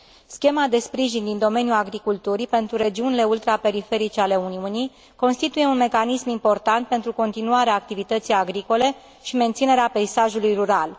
Schema de sprijin din domeniul agriculturii pentru regiunile ultraperiferice ale Uniunii constituie un mecanism important pentru continuarea activității agricole și menținerea peisajului rural.